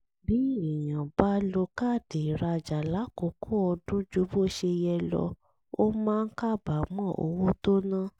bí èèyàn bá lo káàdì ìrajà lákòókò ọdún ju bó ṣe yẹ lọ ó máa ń kábàámọ̀ owó tó ná